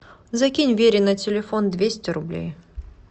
закинь вере на телефон двести рублей